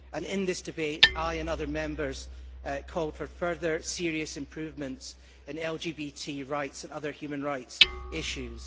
In this debate, I and other Members called for further serious improvements in LGBT rights and other human rights issues.